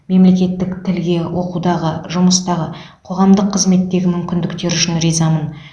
мемлекеттік тілге оқудағы жұмыстағы қоғамдық қызметтегі мүмкіндіктері үшін ризамын